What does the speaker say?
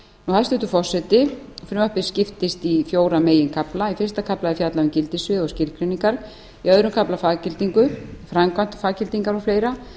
hæstvirtur forseti frumvarpið skiptist í fjóra meginkafla í fyrsta kafla er fjallað um gildissvið og skilgreiningar í öðrum kafla faggildingu framkvæmd faggildingar og fleiri